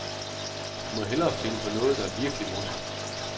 Du må hellere finde på noget, der er virkelig morsomt.